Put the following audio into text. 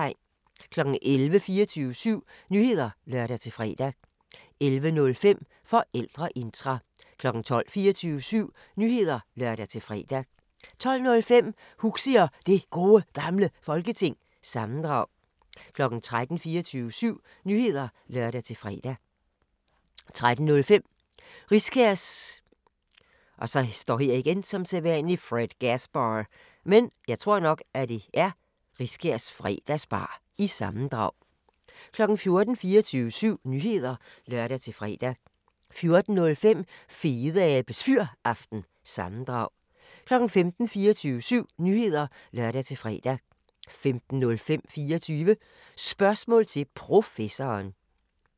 11:00: 24syv Nyheder (lør-fre) 11:05: Forældreintra 12:00: 24syv Nyheder (lør-fre) 12:05: Huxi og det Gode Gamle Folketing - sammendrag 13:00: 24syv Nyheder (lør-fre) 13:05: Riskærs Fredgasbar- sammendrag 14:00: 24syv Nyheder (lør-fre) 14:05: Fedeabes Fyraften – sammendrag 15:00: 24syv Nyheder (lør-fre) 15:05: 24 Spørgsmål til Professoren